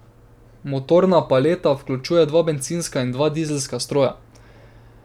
Motorna paleta vključuje dva bencinska in dva dizelska stroja.